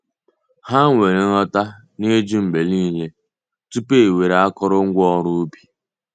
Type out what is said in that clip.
Ha nwere nghọta na-ijụ mgbe niile tupu ewere akụrụngwa oru ubi.